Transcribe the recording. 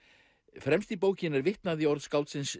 fremst í bókinni er vitnað í orð skáldsins